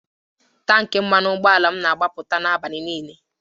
Tanki mmanụ ụgbọala m nọ na-agbapụta n'abalị niile